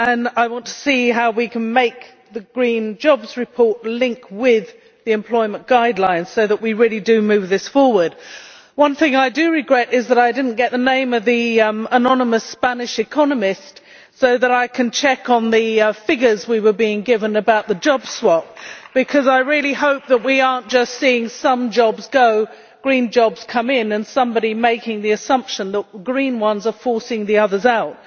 I want to see how we can make the green jobs report link with the employment guidelines so that we really do move this forward. One thing I do regret is that I did not get the name of the anonymous Spanish economist so that I can check on the figures we were being given about the job swap, because I really hope that we are not just seeing some jobs go, green jobs come in, and somebody making the assumption that green ones are forcing the others out.